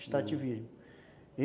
Extrativismo.